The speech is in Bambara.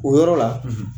O yɔrɔ la